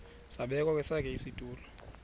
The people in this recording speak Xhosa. zabekwa kwesakhe isitulo